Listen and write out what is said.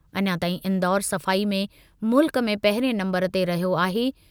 अञा ताईं इंदौर सफ़ाई में मुल्क में पहिरिएं नंबरु ते रहियो आहे।